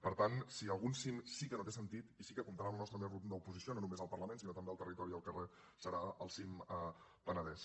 per tant si algun cim sí que no té sentit i sí que comptarà amb la nostra més rotunda oposició no només al parlament sinó també al territori i al carrer serà el cim penedès